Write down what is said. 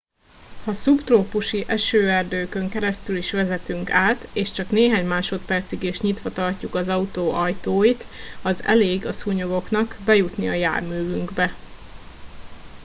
ha szubtrópusi esőerdőkön keresztül is vezetünk át és csak néhány másodpercig is nyitva tartjuk az autó ajtóit az elég a szúnyogoknak bejutni a járművünkbe